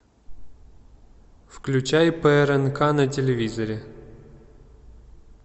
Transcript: включай прнк на телевизоре